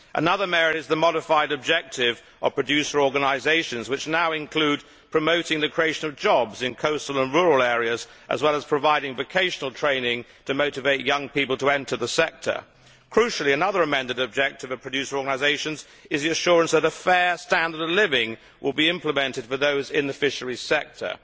Another merit is the modified objectives of producer organisations, which now include promoting the creation of jobs in coastal and rural areas, as well as providing vocational training to motivate young people to enter the sector. Crucially, another amended objective of producer organisations is the assurance that a fair standard of living will be implemented for those in the fisheries sector.